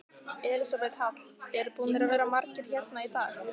Elísabet Hall: Eru búnir að vera margir hérna í dag?